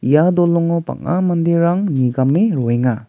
ia dolongo bang·a manderang nigame roenga.